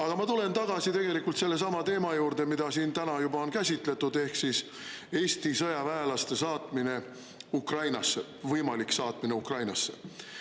Aga ma tulen tagasi tegelikult sellesama teema juurde, mida siin täna juba on käsitletud, ehk siis Eesti sõjaväelaste saatmine Ukrainasse, võimalik saatmine Ukrainasse.